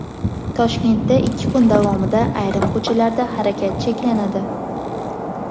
Toshkentda ikki kun davomida ayrim ko‘chalarda harakat cheklanadi.